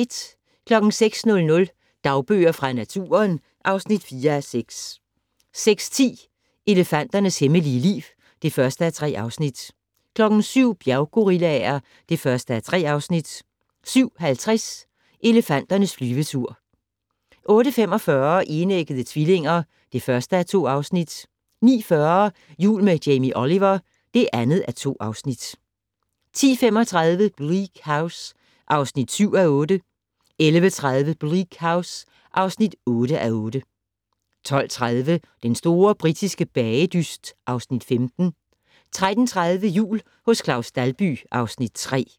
06:00: Dagbøger fra naturen (4:6) 06:10: Elefanternes hemmelige liv (1:3) 07:00: Bjerggorillaer (1:3) 07:50: Elefanternes flyvetur 08:45: Enæggede tvillinger (1:2) 09:40: Jul med Jamie Oliver (2:2) 10:35: Bleak House (7:8) 11:30: Bleak House (8:8) 12:30: Den store britiske bagedyst (Afs. 15) 13:30: Jul hos Claus Dalby (Afs. 3)